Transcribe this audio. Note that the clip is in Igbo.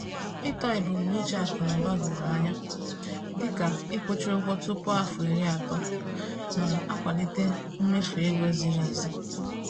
Ịtọ ebumnuche akụ na ụba doro anya, dịka ịkwụchaa ụgwọ tupu afọ iri atọ, na-akwalite mmefu ego ziri ezi.